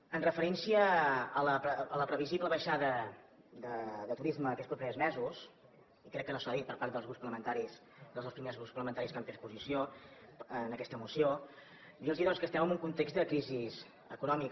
en referència a la previsible baixada de turisme aquests propers mesos i crec que no s’ha dit per part dels grups parlamentaris dels dos primers grups parlamentaris que han pres posició en aquesta moció dir los doncs que estem en un context de crisi econòmica